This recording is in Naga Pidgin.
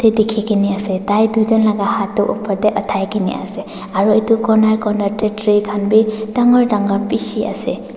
ite dikhigena ase taitun jun laga haat tu upor teh uthakena ase aro itu koner koner teh tree khan bi dangor dangor bishi ase.